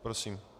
Prosím.